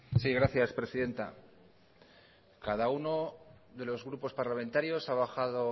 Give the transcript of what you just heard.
sí gracias presidenta cada uno de los grupos parlamentarios ha bajado